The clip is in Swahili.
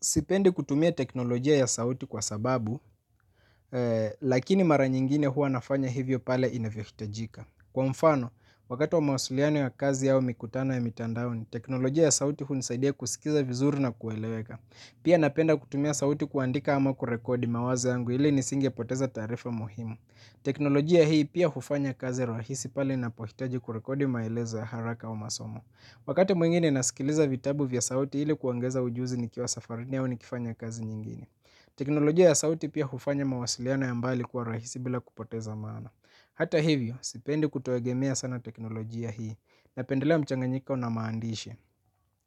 Sipendi kutumia teknolojia ya sauti kwa sababu, lakini mara nyingine huwa nafanya hivyo pale inavyohitajika. Kwa mfano, wakati wa mawasiliano ya kazi au mikutano ya mitandaoni, teknolojia ya sauti hunisaidia kusikiza vizuri na kueleweka. Pia napenda kutumia sauti kuandika ama kurekodi mawazo yangu ili nisingepoteza taarifa muhimu. Teknolojia hii pia hufanya kazi rahisi pale ninapohitaji kurekodi maelezo ya haraka au masomo. Wakati mwingine nasikiliza vitabu vya sauti ili kuongeza ujuzi nikiwa safarini au nikifanya kazi nyingine teknolojia ya sauti pia hufanya mawasiliano ya mbali kwa rahisi bila kupoteza maana. Hata hivyo, sipendi kutegemea sana teknolojia hii. Napendelea mchanganyiko na maandishi.